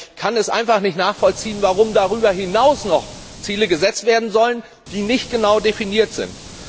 Aber ich kann es einfach nicht nachvollziehen, warum darüber hinaus noch Ziele gesetzt werden sollen, die nicht genau definiert sind.